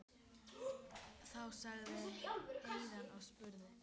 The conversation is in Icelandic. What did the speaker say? Þá sagði Héðinn og spurði